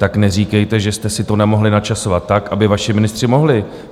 Tak neříkejte, že jste si to nemohli načasovat tak, aby vaši ministři mohli.